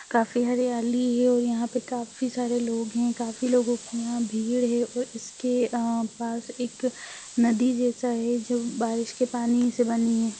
काफी हरियाली है और यहाँ पे काफी सारे लोग हैं काफी लोगो की यहाँ भीड़ है और इसके अ पास एक नदी जैसा है जो बारिश के पानी से बनी है।